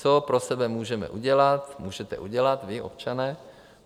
Co pro sebe můžeme udělat, můžete udělat vy, občané?